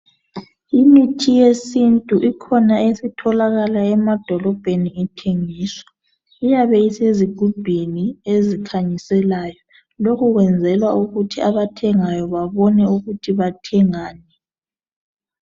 Imithi yesintu ikhona esitholakala emadolobheni ithengiswa. Iyabe isezigubhini ezikhanyisayo. Lokhu kwenzelwa ukuthi abathengayo bebone ukuthi bathengani.